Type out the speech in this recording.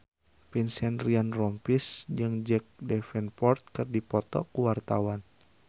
Vincent Ryan Rompies jeung Jack Davenport keur dipoto ku wartawan